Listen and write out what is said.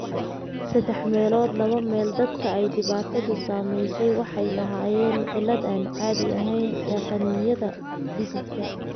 Saddex meelood laba meel dadka ay dhibaatadu saameysey waxay lahaayeen cillad aan caadi ahayn ee qanjidhada dhididka.